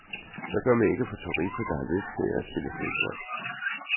Hvad gør man ikke for turister, der har lyst til at spille fodbold?